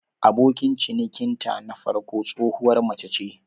Abokin cinikinta na farko tsohuwar mace ce.